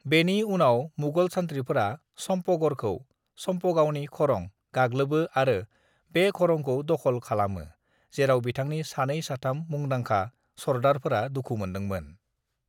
बेनि उनाव मुगल सान्थ्रिफोरा समपगड़खौ (सामपगावनि खरं) गाग्लोबो आरो बे खरंखौ दख'ल खलामो जेराव बिथांनि सानै-साथाम मुंदांखा सरदारफोरा दुखु मोन्दोंमोन।